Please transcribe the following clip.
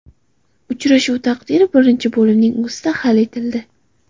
Uchrashuv taqdiri birinchi bo‘limning o‘zida hal etildi.